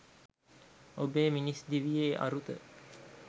ඔබේ මිනිස් දිවියේ අරුත